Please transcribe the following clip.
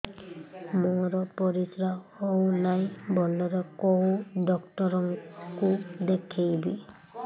ମୋର ପରିଶ୍ରା ହଉନାହିଁ ଭଲରେ କୋଉ ଡକ୍ଟର କୁ ଦେଖେଇବି